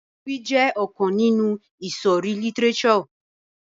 Ewì jẹ ọkan ninu ìsòrí lítírésò.